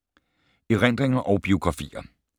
Erindringer og biografier